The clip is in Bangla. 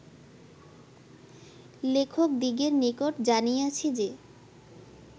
লেখকদিগের নিকট জানিয়াছি যে